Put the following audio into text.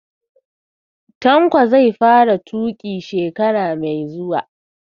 Tanko zai fara tuƙi shekara mai zuwa